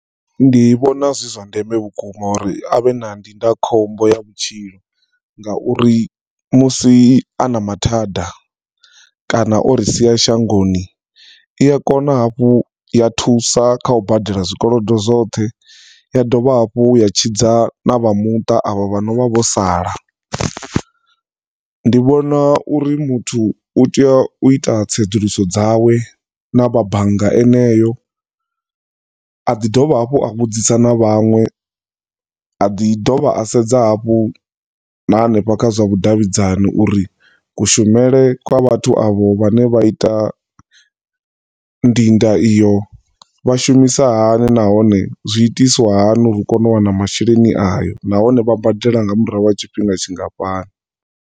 Ndi vhona zwi zwa ndeme vhukuma uri avhe na ndindakhombo ya vhutshilo nga uri musi ana mathada kana ori sia shangoni iya kona hafhu ya thusa kha u badela zwikolodo zwoṱhe ya dovha hafhu ya tshidza na vha muṱa avha vhonovha vho sala. Ndi vhona uri muthu u tea u ita tsedzuluso dzawe na vha bannga eneyo aḓi dovha hafhu a vhudzisa na vhanwe aḓi dovha a sedza hafhu na hanefha kha zwa vhudavhidzani uri ku shumele kwa vhathu avho vhane vha ita ndinda iyo vha shumisa hani nahone zwi itiswa hani uri u kone u wana masheleni ayo nahone vha badela nga murahu ha tshifhinga tshingafhani.